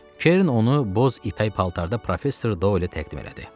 Kerin onu boz ipək paltarda professor Dolə təqdim elədi.